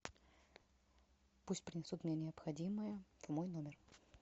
пусть принесут мне необходимое в мой номер